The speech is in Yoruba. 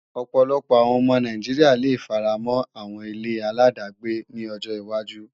Ọ̀pọ̀lọpọ̀ àwọn ọmọ Nàìjíríà le faramọ́ àwọn ile-aláàdágbé ní ọjọ wájú